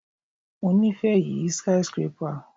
Mo ni ife yi skyscrapper